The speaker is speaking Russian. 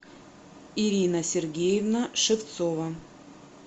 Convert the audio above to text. ирина сергеевна шевцова